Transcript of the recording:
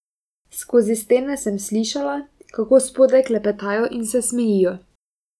Skozi stene sem slišala, kako spodaj klepetajo in se smejijo.